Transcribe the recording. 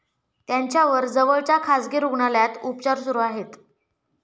त्यांच्यावर जवळच्या खासगी रुग्णालयात उपचार सुरु आहेत.